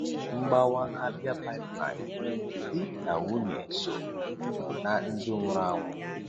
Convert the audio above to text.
Mgbawa Abia Pipeline: Di na nwunye so um na ndị nwụrụ anwụ.